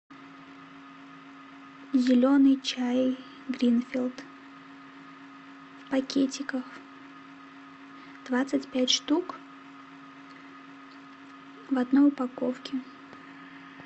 зеленый чай гринфилд в пакетиках двадцать пять штук в одной упаковке